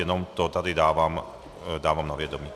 Jenom to tady dávám na vědomí.